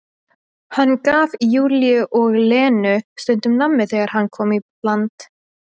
Hann gaf Júlíu og Lenu stundum nammi þegar hann kom í land.